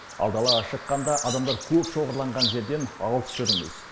ал далаға шыққанда адамдар көп шоғырланған жерден алыс жүріңіз